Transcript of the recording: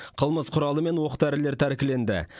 қылмыс құралы мен оқ дәрілер тәркіленді